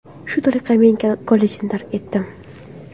Shu tariqa men kollejni tark etdim.